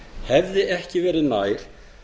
hefði ekki verið nær